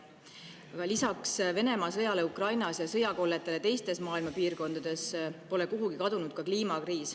Aga lisaks Venemaa sõjale Ukrainas ja sõjakolletele teistes maailma piirkondades pole kuhugi kadunud ka kliimakriis.